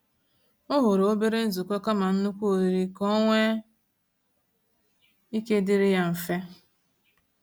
O họrọ obere nzukọ kama nnukwu oriri ka ọnwe ike ịdịrị ya mfe.